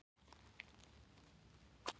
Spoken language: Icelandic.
Hann var eins og fló á skinni í kringum konuna.